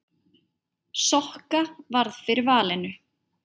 Sokka varð fyrir valinu.